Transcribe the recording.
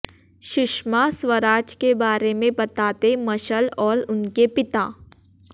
सुषमा स्वराज के बारे में बताते मशल और उनके पिता